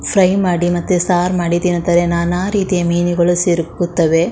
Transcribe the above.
Fry ಮಾಡಿ ಮತ್ತೆ ಸಾರ್ ಮಾಡಿ ತಿನತರೆ ನಾನಾರೀತಿಯ ಮೀನುಗಳು ಸೇರ್ಕೊತ್ತವೆ.